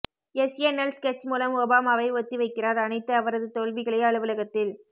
SNL sketch மூலம் ஒபாமாவை ஒத்திவைக்கிறார் அனைத்து அவரது தோல்விகளை அலுவலகத்தில்